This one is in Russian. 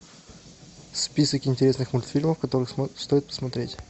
список интересных мультфильмов которые стоит посмотреть